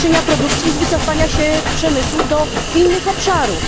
Ze zniesienia produkcji i z wycofania się przemysłu do innych obszarów.